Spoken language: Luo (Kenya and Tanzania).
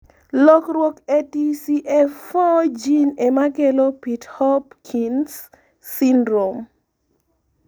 lokruok e TCF4 gene emakelo pitt-hopkins syndrome